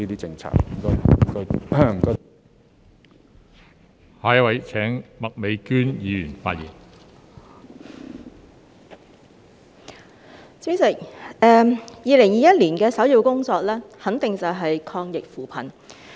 代理主席 ，2021 年的首要工作肯定便是抗疫扶貧。